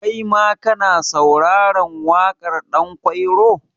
Kaima ka na sauraren waƙar Ɗanƙwairo?